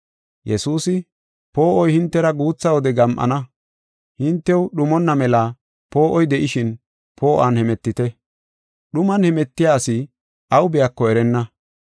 Yesuusi, “Poo7oy hintera guutha wode gam7ana. Hintew dhumonna mela poo7oy de7ishin, poo7uwan hemetite. Dhuman hemetiya asi aw biyako erenna.